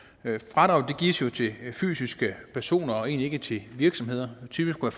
fradraget gives jo til fysiske personer og egentlig ikke til virksomheder typisk kunne